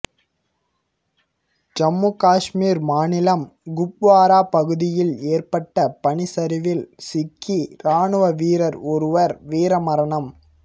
ஜம்மு காஷ்மீர் மாநிலம் குப்வாரா பகுதியில் ஏற்பட்ட பனிச்சரிவில் சிக்கி ராணுவ வீரர் ஒருவர் வீர மரணம்